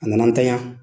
A nana an tanya